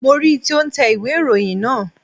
Mo ri tí ó n tẹ ìwé ìròyìn naa